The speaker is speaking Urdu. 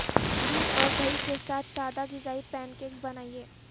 دودھ اور دہی کے ساتھ سادہ غذائی پینکیکس بنائیں